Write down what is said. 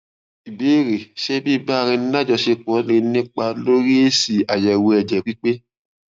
ìbéèrè ṣé biba ara eni lajosepo lè nípa lórí esi ayewo ẹjẹ pipe